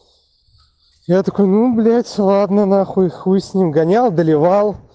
я такой блять ну ладно на хуй хуй с ним гонял доливал